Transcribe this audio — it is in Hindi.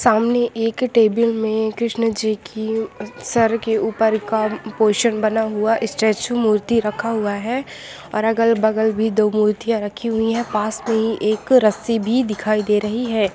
सामने एक टेबल में कृष्ण जी उम्म सर के ऊपर काम पोषण बना हुआ स्टैचू मूर्ति रखा हुआ है और अगल-बगल दो मूर्तियां रखी हुई है पास में ही एक रस्सी भी दिखाई दे रही है।